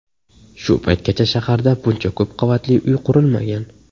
Shu paytgacha shaharda buncha ko‘p qavatli uy qurilmagan.